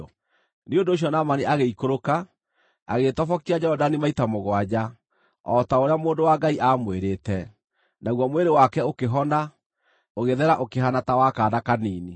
Nĩ ũndũ ũcio Naamani agĩikũrũka, agĩĩtobokia Jorodani maita mũgwanja, o ta ũrĩa mũndũ wa Ngai aamwĩrĩte, naguo mwĩrĩ wake ũkĩhona, ũgĩthera ũkĩhaana ta wa kaana kanini.